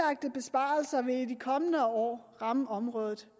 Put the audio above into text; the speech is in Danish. og vil i de kommende år ramme området